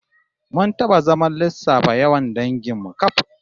Mun taba zaman lissafa yawan dangin mu kaf